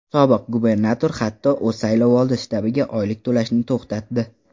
Sobiq gubernator, hatto, o‘z saylovoldi shtabiga oylik to‘lashni to‘xtatdi.